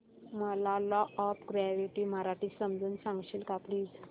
मला law of gravity मराठीत समजून सांगशील का प्लीज